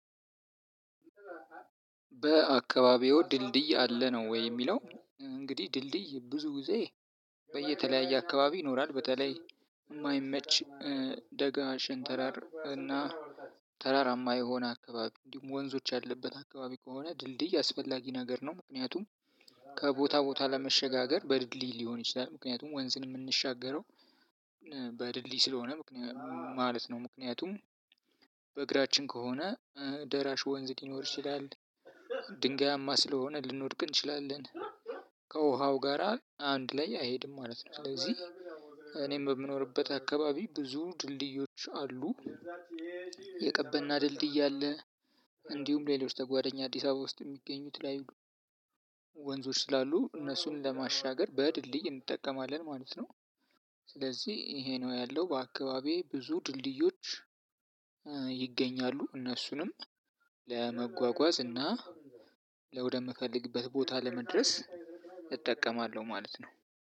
በአካባቢዎ ድልድይ አለ ነው ወይ የሚለው? እንግዲህ ድልድይ ብዙ ጊዜ በየተለያየ አካባቢ ይኖራል በተለይ የማይመች ደጋ ሸንተረር እና ተራራማ የሆነ አካባቢ እንዲሁም ወንዞች ያለበት አካባቢ ከሆነ ድልድይ አስፈላጊ ነገር ነው። ምክንያቱም ከቦታ ቦታ ለመሸጋገር በድልድል ሊሆን ይችላል ምክንያቱም ወንዝን የምንሻገረው በድልድይ ስለሆነ ማለት ነው። ምክንያቱም በእግራችን ከሆነ ደራሽ ወንዝ ሊኖር ይችላል ድንጋያማ ስለሆነ ልንወድቅ እንችላለን ከውሃው ጋራ አንድ ላይ አይሄድም ማለት ነው። ስለዚህ እኔም በምኖርበት አካባቢ ብዙ ድልድዮች አሉ። የቀበና ድልድይ አለ። እንዲሁም ሌሎች ተጓዳኛ አዲስ አበባ ውስጥ የሚገኙ የተለያዩ ወንዞች ስላሉ እነሱን ለማሻገር በድልድይ እንጠቀማለን ማለት ነው። ስለዚህ ይሄ ነው ያለው በአካባቢዬ ብዙ ድልድዮች ይገኛሉ። እነሱንም ለመጓጓዝ እና ለወደምፈልግበት ቦታ ለመድረስ እጠቀማለሁ ማለት ነው።